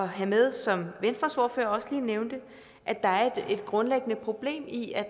have med som venstres ordfører også lige nævnte at der er et grundlæggende problem i at